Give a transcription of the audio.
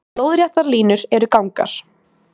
Lóðréttar línur eru gangar.